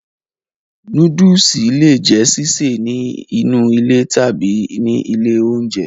Nóódùsì le è jẹ́ sísè ní inú ilé tàbí ní ilé oúnjẹ